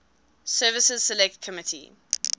services select committee